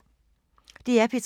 DR P3